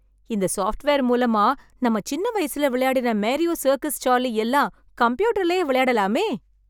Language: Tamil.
இந்த ஸாப்ட்வேர் மூலமா நாம சின்ன வயசுல விளையாடின மேரியோ, சர்க்கஸ் சார்லி எல்லாம் கம்ப்யூட்டர்லியே விளையாடலாமே!